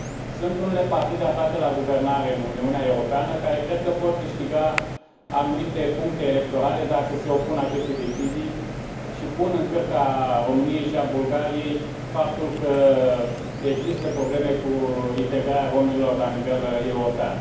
Sunt unele partide aflate la guvernare în Uniunea Europeană care cred că pot câștiga anumite puncte electorale dacă se opun acestei decizii și pun în cârca României și a Bulgariei faptul că există probleme cu integrarea romilor la nivel european.